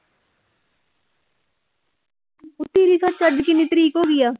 ਤੇਰੀ ਸੱਚ ਅੱਜ ਕਿੰਨੀ ਤਰੀਕ ਹੋ ਗਈ ਆ।